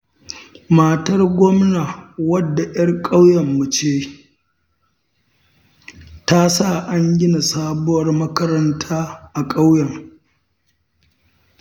Matar gwamna wadda 'yar ƙauyenmu ce, ta sa an gina sabuwar makaranta a ƙauyen.